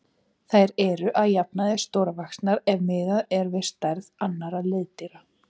Þær eru að jafnaði stórvaxnar ef miðað er við stærð annarra liðdýra.